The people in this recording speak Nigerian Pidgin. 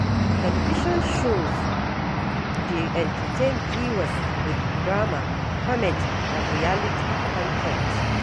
Television shows dey entertain viewers with drama, comedy, and reality con ten t.